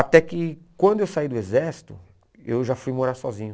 Até que quando eu saí do exército, eu já fui morar sozinho.